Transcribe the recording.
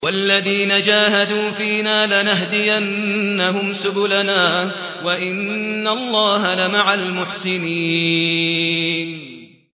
وَالَّذِينَ جَاهَدُوا فِينَا لَنَهْدِيَنَّهُمْ سُبُلَنَا ۚ وَإِنَّ اللَّهَ لَمَعَ الْمُحْسِنِينَ